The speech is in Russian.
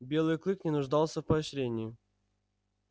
белый клык не нуждался в поощрении